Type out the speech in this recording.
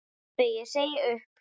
Pabbi ég segi upp!